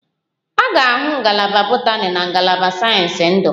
A ga-ahụ Ngalaba botani na ngalaba nke sayensị ndu